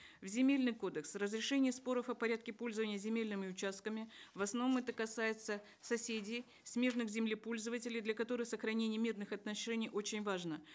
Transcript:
в земельный кодекс разрешение споров о порядке пользования земельными участками в основном это касается соседей смежных землепользователей для которых сохранение мирных отношений очень важно